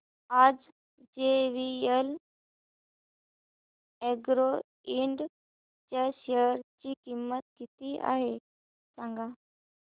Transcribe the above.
आज JVL Agro Ind च्या share ची किंमत किती आहे सांगा